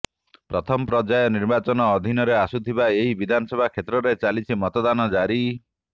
ପ୍ରଥମ ପର୍ଯ୍ୟାୟ ନିର୍ବାଚନ ଅଧିନରେ ଆସୁଥିବା ଏହି ବିଧାନସଭା କ୍ଷେତ୍ରରେ ଚାଲିଛି ମତଦାନ ଜାରି